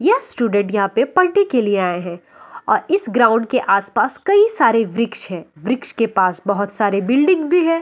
ये स्टूडेंट यहाँ पर पलती के लिए आये है और इस ग्राउंड के आस पास कई सारे वृक्ष है वृक्ष के पास बहुत सारे बिल्डिंग भी है ।